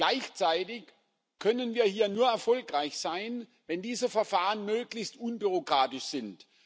Gleichzeitig können wir hier nur erfolgreich sein, wenn diese Verfahren möglichst unbürokratisch sind.